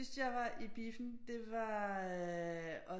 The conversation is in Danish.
Sidst jeg var i biffen det var